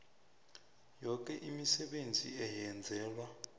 yoke imisebenzi eyenzelwa